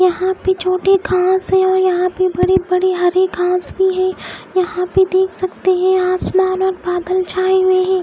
यहां पे छोटी घास है और यहां पे बड़ी बड़ी हरि घास भी है यहां पे देख सकते हैं आसमान में बादल छाए हुए हैं।